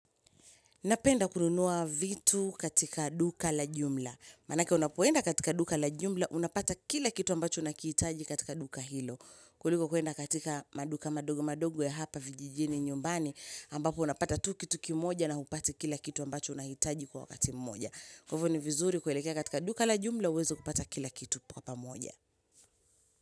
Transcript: Napenda kununua vitu katika duka la jumla. Maanaka unapoenda katika duka la jumla, unapata kila kitu ambacho unakihitaji katika duka hilo. Kuliko kuenda katika maduka madogo madogo ya hapa vijijini nyumbani, ambapo unapata tu kitu kimoja na hupati kila kitu ambacho unakitaji kwa wakati mmoja. Kuwa hivo ni vizuri kuelekea katika duka la jumla, uwezo kupata kila kitu kwa wakati mmoja.